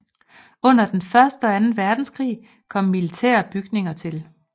Under den første og anden verdenskrig kom militære bygninger til